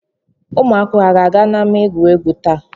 Ụmụ akwụkwọ a ga-aga n'ámá egwuregwu taa?